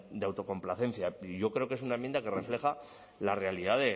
de autocomplacencia yo creo que es una enmienda que refleja la realidad